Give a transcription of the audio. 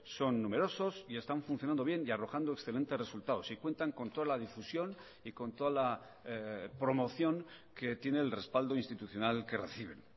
son numerosos y están funcionando bien y arrojando excelentes resultados y cuentan con toda la difusión y con toda la promoción que tiene el respaldo institucional que reciben